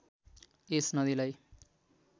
यस नदीलाई